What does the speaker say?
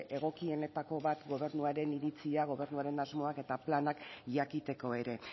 egokienetako bat gobernuaren iritzia gobernuaren asmoak eta planak jakiteko ere